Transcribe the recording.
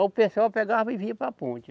O pessoal pegava e vinha para a ponte.